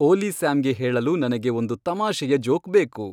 ಓಲಿ ಸ್ಯಾಮ್ಗೆ ಹೇಳಲು ನನಗೆ ಒಂದು ತಮಾಷೆಯ ಜೋಕ್ ಬೇಕು